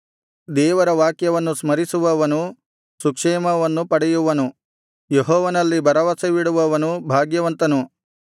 ದೇವರ ವಾಕ್ಯವನ್ನು ಸ್ಮರಿಸುವವನು ಸುಕ್ಷೇಮವನ್ನು ಪಡೆಯುವನು ಯೆಹೋವನಲ್ಲಿ ಭರವಸವಿಡುವವನು ಭಾಗ್ಯವಂತನು